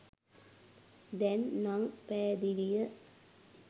දැන් නන් පැහැදිලිය